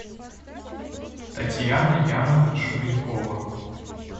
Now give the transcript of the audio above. татьяна яновна шубенкова